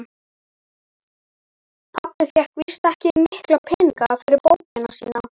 Pabbi fékk víst ekki mikla peninga fyrir bókina sína.